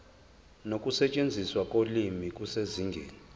nokusetshenziswa kolimi kusezingeni